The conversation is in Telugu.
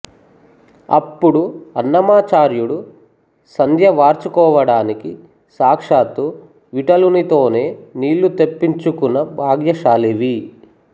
అప్పుడు అన్నమాచార్యుడు సంధ్య వార్చుకోవడానికి సాక్షాత్తు విఠలునితోనే నీళ్ళు తెప్పించుకొన్న భాగ్యశాలివి